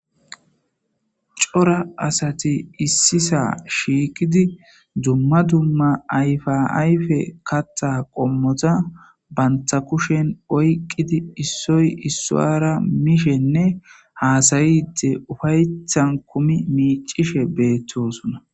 cora asati issisa shiikidi dumma dumma ayfa ayfe katta qommota banta kushen oyqqidi issoy issoara mishenne haasayide ufayethan kumi miicishe beettosunna